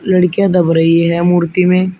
लड़किया दब रही है मूर्ती में--